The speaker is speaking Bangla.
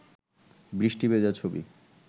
বৃষ্টি ভেজা ছবি